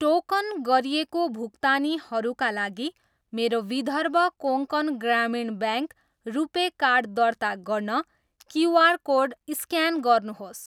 Token गरिएको भुक्तानीहरूका लागि मेरो विदर्भ कोङ्कण ग्रामीण ब्याङ्क रुपे कार्ड दर्ता गर्न क्युआर कोड स्क्यान गर्नुहोस्।